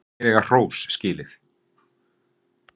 Þeir eiga hrós skilið.